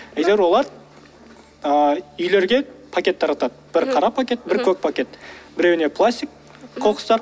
әйтеуіп олар ыыы үйлерге пакет таратады бір қара пакет бір көк пакет біреуіне пластик қоқыстар